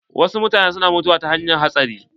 Wasu mutanen na mutuwa ta hanyar hatsari.